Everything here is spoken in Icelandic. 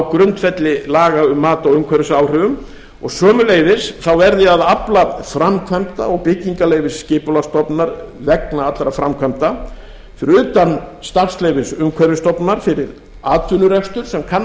grundvelli laga um mat á umhverfisáhrifum og sömuleiðis þá verði að afla framkvæmda og byggingarleyfis skipulagsstofnunar vegna allra framkvæmda fyrir utan starfsleyfis umhverfisstofnunar fyrir atvinnurekstur sem kann að